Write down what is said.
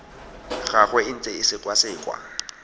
gagwe e ntse e sekwasekwa